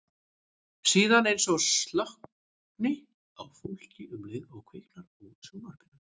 Síðan eins og slokkni á fólki um leið og kviknar á sjónvarpinu.